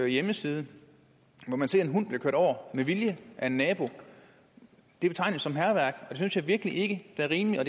hjemmeside hvor man ser en hund blive kørt over med vilje af en nabo det betegnes som hærværk det synes jeg virkelig ikke er rimeligt og